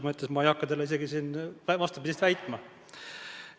Ma ei hakka teile siin vastupidist väitma.